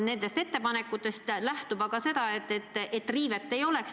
Nendest ettepanekutest aga nähtub, et teatud juhul riivet ei oleks.